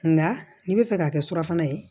Nka n'i bɛ fɛ k'a kɛ surafana ye